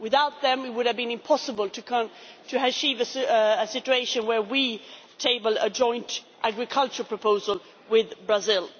EU. Without them, it would have been impossible to achieve a situation where we table a joint agricultural proposal with Brazil.